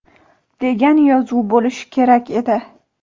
degan yozuv bo‘lishi kerak edi).